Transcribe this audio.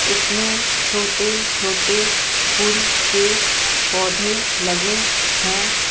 उसमें छोटे-छोटे फूल के पौधे लगे हैं ।